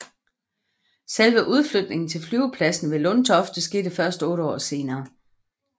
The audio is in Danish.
Selve udflytningen til flyvepladsen ved Lundtofte skete først 8 år senere